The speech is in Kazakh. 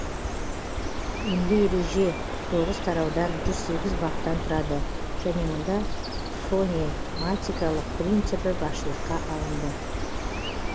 емле ереже тоғыз тараудан жүз сегіз баптан тұрады және мұнда фонематикалық принципі басшылыққа алынды